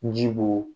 Ji b'o